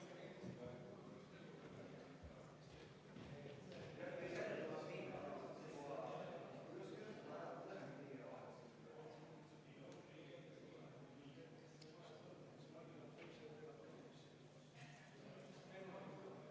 Selle esitaja on eraldi Sotsiaaldemokraatliku Erakonna fraktsioon ja eraldi Sven Sester ja juhtivkomisjon on seda arvestanud täielikult, aga Eesti Konservatiivse Rahvaerakonna fraktsioon soovib seda hääletada.